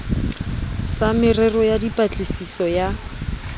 sa merero ya dipatlisiso ya